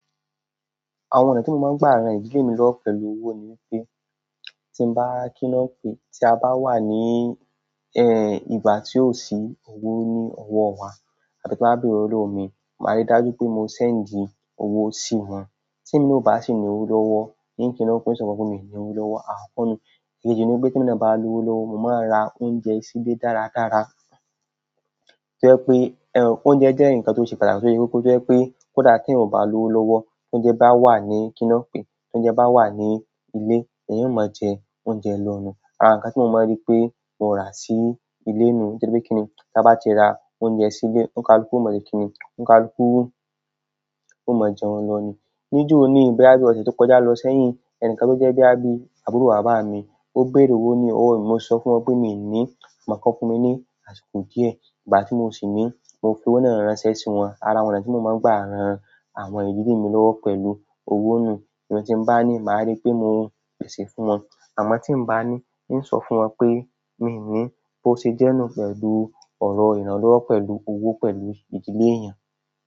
Àwọn ọ̀nà tí mo máa ń gbà ran ìdílé mi lọ́wọ́ pẹ̀lú owó ni wípé, tí n bá kí lon pe, tí a bá wà ní, ẹ, ìgbà tí ó sì owó ní ọwọ́ wa tàbí tí mo bá bẹ̀re lo wo ni, màá rí dájú pé mo ṣend í owó sí wọn. Tí mo ò bá sì ní owó lọ́wọ́, ní kí nọ́ọ̀pì sọ fún wọ́n pé mi ò ní owó lọ́wọ́, a kọ́nu. Èkejì ni wípé tí emi náà bá ní owó lọ́wọ́, mo máa ra oúnjẹ sílé dáradára. To je pé oúnjẹ jẹ́ ǹkan tó ṣe pàtàkì tó ṣe koko. To je pe kódà eeyan o ba lowo lowo tounje ba wa ni ki lon pe tounje ba wa nile eeyan o mo je oúnjẹ lo ni àrá ǹkan tí mo máa ń rí pé mo rà sí ilé ni, nítorí pé kí ni, tí a bá ti ra oúnjẹ sílé, òǹkàlúkú ó mọ̀se kín ní, òǹkàlúkú ó mọ̀jẹ́un lọ ni. Níjo o ní, bí i ọ̀sẹ̀ tó kọjá lọ sẹ́yìn, ẹ̀ni kan tó jẹ́ boya bi àbúrò bàbá mi, ó bẹ̀re owó ní ọwọ́ mi, mo sọ fún wọn pé mi ò ní, màá si ni kiwọn fún mi ní àsìkò díẹ̀. Ìgbà tí mo sì ní, mo fi owó náà ránṣẹ́ sí wọn. Ara àwọn ọ̀nà tí mo máa ń gbà ran àwọn ìdílé mi lọ́wọ́ pẹ̀lú owó nù. Ìgbà tí mbá ní, màá rí pé mò ń pèsè fún wọn. Àmọ́ tí n bá ní, n sọ fún wọn pé mi ní, bó ṣe jẹ́ náà pẹ̀lú ọ̀rọ̀ ìrànlọ́wọ́ pẹ̀lú owó pẹ̀lú ìdílé èèyàn.